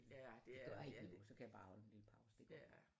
Det gør ikke noget så kan jeg bare holde en lille pause